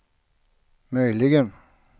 möjligen